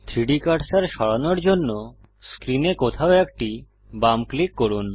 3ডি কার্সার সরানোর জন্য স্ক্রিনে কোথাও একটি বাম ক্লিক করুন